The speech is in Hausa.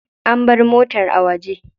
An bar motar a waje.